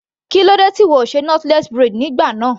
Kílódé tí ìwọ kò ṣe knotless braid nígbà náà.